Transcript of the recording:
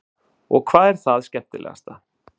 Karen: Og hvað er það skemmtilegasta?